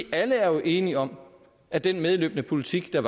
alle er jo enige om at den medløbende politik der